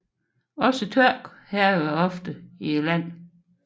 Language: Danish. Også tørke hærger oftere i landet